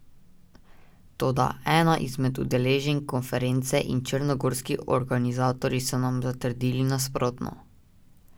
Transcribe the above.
Toda, ena izmed udeleženk konference in črnogorski organizatorji so nam zatrdili nasprotno.